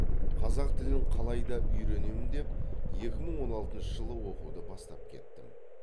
қазақ тілін қалайда үйренем деп екі мың он алтыншы жылы оқуды бастап кеттім